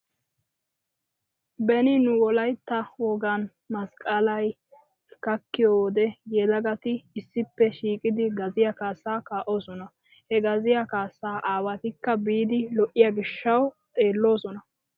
Beni nu wolaytta wogan masqqalay gakkiyo wode yelagati issippe shiiqidi gaziya kaassaa kaa'osona. He gaziya kaassa aawatikka biidi lo'iyo gishshawu xeelloosona.